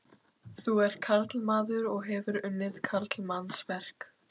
Þú ert karlmaður og hefur unnið karlmannsverk.